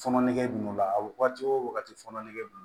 Fɔɔnɔ nege b'o la a wagati o wagati fɔnɔ nege bon